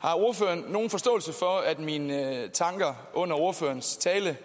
har ordføreren nogen forståelse for at mine tanker under ordførerens tale